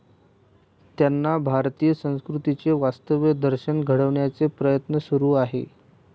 त्यांना भारतीय संस्कृतीचे वास्तव दर्शन घडवण्याचे प्रयत्न सुरू आहेत.